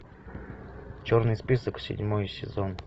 черный список седьмой сезон